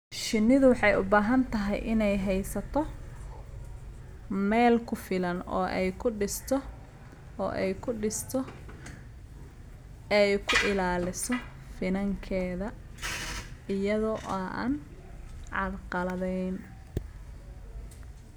Shinnidu waxay u baahan tahay inay haysato meel ku filan oo ay ku dhisto oo ay ku ilaaliso finankeeda iyada oo aan carqaladayn.